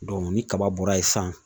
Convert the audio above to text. ni kaba bɔra yen sisan